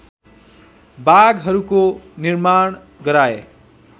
बागहरूको निर्माण गराए